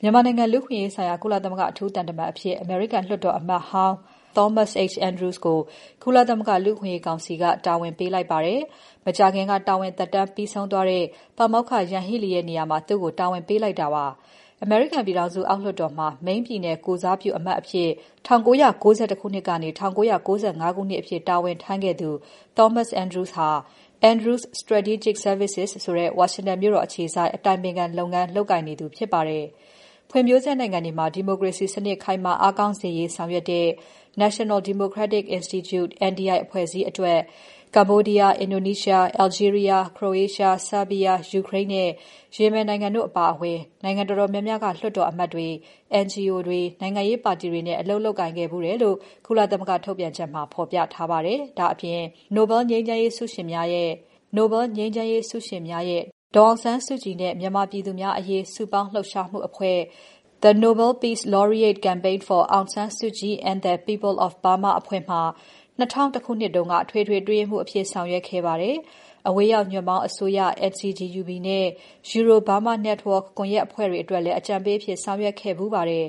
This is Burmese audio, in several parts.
မြန်မာနိုင်ငံ လူ့အခွင့်အရေးအခြေအနေဆိုင်ရာ ကုလသမဂ္ဂအထူးကိုယ်စားလှယ်အဖြစ် အမေရိကန်လွှတ်တော်အမတ်ဟောင်း Thomas H. Andrews ကို ကုလသမဂ္ဂ လူ့အခွင့်အရေးကောင်စီက တာဝန်ပေးထားပါတယ်။ မကြာခင်က တာဝန်သက်တမ်းပြီးဆုံးသွားတဲ့ ပါမောက္ခ Yanghee Lee ရဲ့ နေရာမှာ သူ့ကို တာဝန်ပေးလိုက်တာပါ။ အမေရိကန်ပြည်ထောင်စု အောက်လွှတ်တော်မှာ Maine ပြည်နယ်ကိုယ်စားပြုအမတ်အဖြစ် ၁၉၉၁ ခုနှစ်ကနေ ၁၉၉၅ ခုနှစ်အထိ တာဝန်ထမ်းခဲ့သူ Thomas H. Andrews ဟာ Andrews Strategic Services ဆိုတဲ့ ဝါရှင်တန်မြို့တော်အခြေစိုက် အတိုင်ပင်ခံလုပ်ငန်း လုပ်ကိုင်နေသူဖြစ်ပါတယ်။ ဖွံ့ဖြိုးဆဲနိုင်ငံတွေမှာ ဒီမိုကရေစီစနစ် ခိုင်မာအားကောင်းစေရေး ဆောင်ရွက်တဲ့ National Democratic Institute (NDI) အဖွဲ့အစည်းအတွက် Cambodia, Indonesia, Algeria, Croatia, Serbia, Ukraine နဲ့ Yemen နိုင်ငံတို့အပါအဝင် နိုင်ငံတော်တော်များများက လွှတ်တော်အမတ်တွေ၊ NGO တွေ၊ နိုင်ငံရေးပါတီတွေနဲ့ အလုပ်လုပ်ကိုင်ခဲ့ဖူးတယ်လို့ ကုလသမဂ္ဂထုတ်ပြန်ချက်မှာ ဖော်ပြထားပါတယ်။ ဒါ့အပြင် “The Nobel Peace Laureate Campaign for Aung San Suu Kyi and the People of Burma” နိုဘယ်ငြိမ်းရေးဆုရှင်များရဲ့ ဒေါ်အောင်ဆန်းစုကြည်နဲ့မြန်မာပြည်သူများအရေး စုပေါင်းလှုပ်ရှားမှုအဖွဲ့မှာ ၂၀၀၁ ခုနှစ်က အထွေထွေအတွင်းရေးမှူးအဖြစ် ဆောင်ရွက်ခဲ့ပါတယ်။ အဝေးရောက်ညွှန့်ပေါင်းအစိုးရ NCGUB နဲ့ Euro-Burma Network ကွန်ယက်အဖွဲ့တွေအတွက်လည်း အကြံပေးအဖြစ် ဆောင်ရွက်ခဲ့ဖူးပါတယ်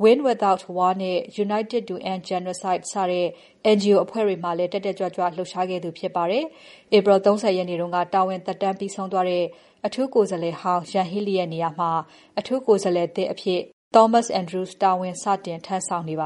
။ Win Without War နဲ့ United to End Genocide စတဲ့ NGO အဖွဲ့တွေမှာလည်း တက်တက်ကြွကြွ လှုပ်ရှားခဲ့သူဖြစ်ပါတယ်။ ဧပြီလ ၃၀ ရက်နေ့က တာဝန်သက်တမ်းပြီးဆုံးသွားတဲ့ အထူးကိုယ်စားလှယ်ဟောင်း Yanghee Lee ရဲ့နေရာမှာ အထူးကိုယ်စားလှယ်သစ်အဖြစ် Thomas H. Andrews တာဝန် စတင်ထမ်းဆောင်နေပ